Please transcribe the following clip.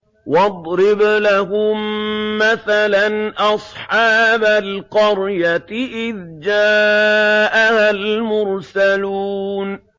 وَاضْرِبْ لَهُم مَّثَلًا أَصْحَابَ الْقَرْيَةِ إِذْ جَاءَهَا الْمُرْسَلُونَ